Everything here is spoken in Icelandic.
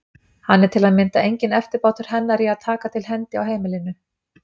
Hann er til að mynda enginn eftirbátur hennar í að taka til hendi á heimilinu.